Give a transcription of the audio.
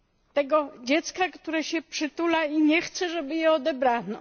Tego dziecka, które się przytula i nie chce, żeby je odebrano.